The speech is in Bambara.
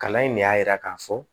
Kalan in ne y'a yira k'a fɔ